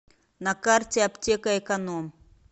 на карте аптека эконом